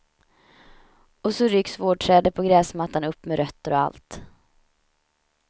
Och så rycks vårdträdet på gräsmattan upp med rötter och allt.